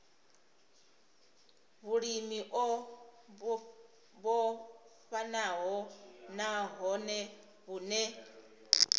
vhulimi o vhofhanaho nahone vhune